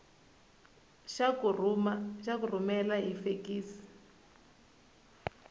xa ku rhumela hi fekisi